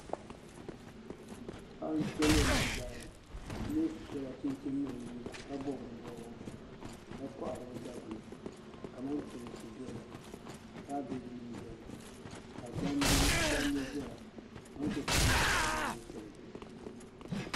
Paɣi n-to lem nzi daani o mi so la chinchini ni di liiga ka bɔb di bɔbiga ka kohi ri ɔ daguli kaman toosi beni kaabeginim beni ka gbaŋ zɛya kamantoonsi maa mi pala gbambil shɛli zuɣu.